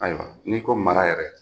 Ayiwa n'i ko mara yɛrɛ